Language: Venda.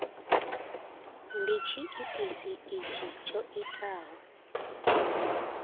ndi tshiitisi itshi tsho itaho